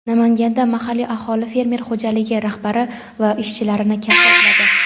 Namanganda mahalliy aholi fermer xo‘jaligi rahbari va ishchilarini kaltakladi.